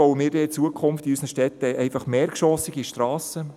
Bauen wir denn in Zukunft in unseren Städten einfach mehrgeschossige Strassen?